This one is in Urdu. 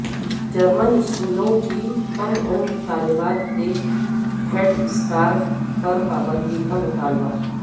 جرمن اسکولوں کی کم عمر طالبات کے ہیڈ اسکارف پر پابندی کا مطالبہ